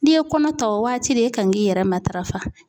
N'i ye kɔnɔ ta o waati de e kan k'i yɛrɛ matarafa.